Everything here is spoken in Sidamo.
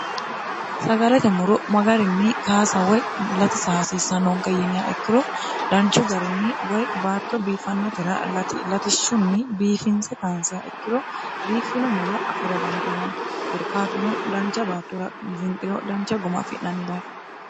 sagalete muro magarinni kaasa woy lati saaasiissannoonke yiniya ikkiro danchu garinni woy baatto biifannotera latishshunni biifinse kaansiya ikkiro biiffino mulo afira dandiinanni korkaatuno dancha baattora zinxiro dancha goma afi'nanni dafo